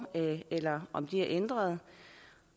eller om de er ændret